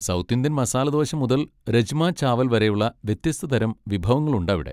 South Indian masala dosa മുതൽ രജ്മ ചാവൽ വരെയുള്ള വ്യത്യസ്ത തരം വിഭവങ്ങളുണ്ടവിടെ.